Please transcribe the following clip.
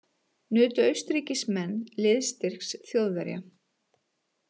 Nutu Austurríkismenn liðsstyrks Þjóðverja.